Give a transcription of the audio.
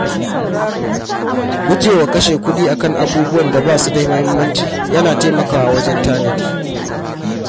Guje wa kashe kuɗi a kan abubuwan da ba su da mahimmanci yana taimakawa wajen tanadi.